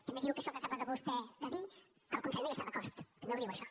també diu que això que acaba vostè de dir que el consell no hi està d’acord també ho diu això